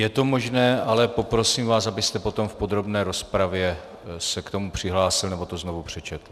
Je to možné, ale poprosím vás, abyste potom v podrobné rozpravě se k tomu přihlásil nebo to znovu přečetl.